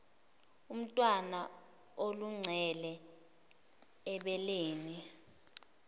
umntwana aluncele ebeleni